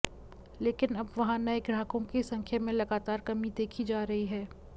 लेकिन अब वहां नए ग्राहकों की संख्या में लगातार कमी देखी जा रही है